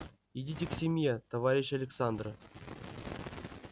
идите к семье товарищ александра